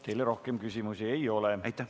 Teile rohkem küsimusi ei ole.